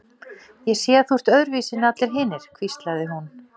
Ég sé að þú ert öðruvísi en allir hinir, hvíslaði hún